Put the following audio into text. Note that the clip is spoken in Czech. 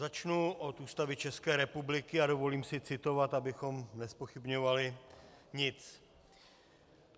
Začnu od Ústavy České republiky a dovolím si citovat, abychom nezpochybňovali nic.